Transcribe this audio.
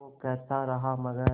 वो कहता रहा मगर